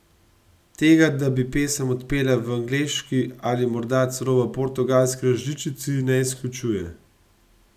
Tega, da bi pesem odpela v angleški ali morda celo v portugalski različici, ne izključuje.